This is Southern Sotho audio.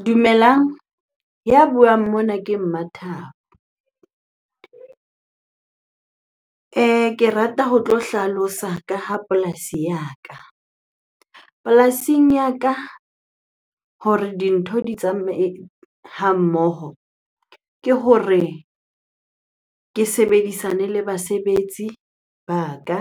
Dumelang, ya buang mona ke Mmathabo. Ke rata ho tlo hlalosa ka ha polasi ya ka. Polasing ya ka hore dintho di tsamaye ha mmoho ke hore ke sebedisane le basebetsi ba ka